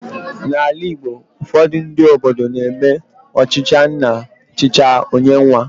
N'ala Igbo, ufodu ndị obodo na eme ọchịchị nna chicha, ọ nye nwa